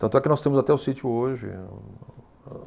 Tanto é que nós temos até o sítio hoje.